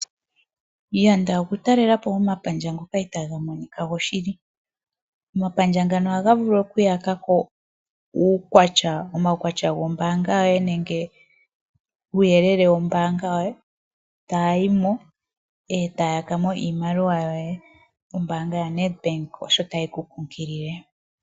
Yanda okuta okutalelapo omapandja ngoka itaga monika goshili. omapandja ngano ohaga vulu okuyakako uukwatya wombaanga yoye nenge uuyelele wombaanga yoye. Konima yamona uuyelele woye ohaya yimo etayakamo iimaliwa yoye. Ombaanga yaNedbank osho tayi kunkilile.